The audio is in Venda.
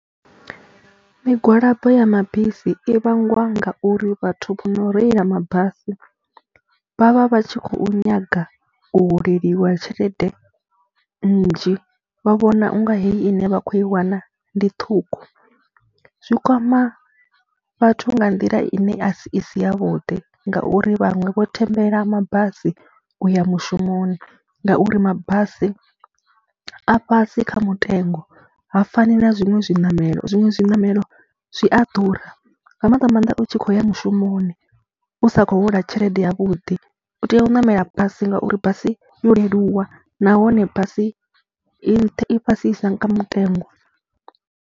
Migwalabo ya mabisi i vhangiwa ngauri vhathu vho no reila mabasi vha vha vha tshi khou nyaga u holeliwa tshelede nnzhi, vha vhona u nga heyi ine vha khou i wana ndi ṱhukhu. Zwi kwama vhathu nga nḓila ine a si i si yavhuḓi ngauri vhaṅwe vho thembela mabasi u ya mushumoni ngauri mabasi a fhasi kha mutengo ha fani na zwiṅwe zwiṋamelo, zwiṅwe zwiṋamelo zwi a ḓura nga maanḓa maanḓa u tshi khou ya mushumoni, u sa khou hola tshelede yavhuḓi, u tea u ṋamela basi ngauri basi yo leluwa nahone basi i nṱha, i fhasisa nga mutengo.